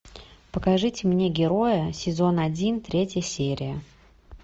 покажите мне героя сезон один третья серия